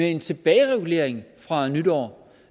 en tilbageregulering fra nytår